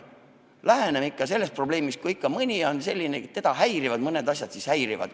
Läheneme ikka sellele probleemile nii, et kui mõni on selline inimene, et teda häirivad mõned asjad, siis las häirivad.